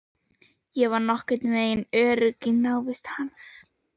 Ég var orðin nokkurnveginn örugg í návist hans.